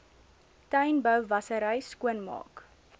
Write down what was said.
tuinbou wassery skoonmaak